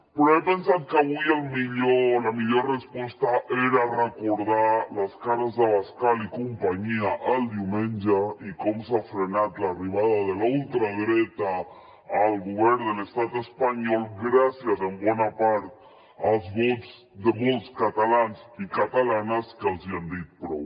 però he pensat que avui la millor resposta era recordar les cares d’abascal i companyia el diumenge i com s’ha frenat l’arribada de la ultradreta al govern de l’estat espanyol gràcies en bona part als vots de molts catalans i catalanes que els hi han dit prou